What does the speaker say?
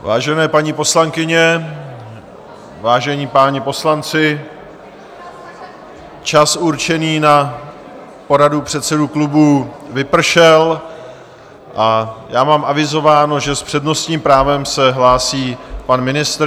Vážené paní poslankyně, vážení páni poslanci, čas určený na poradu předsedů klubů vypršel a já mám avizováno, že s přednostním právem se hlásí pan ministr.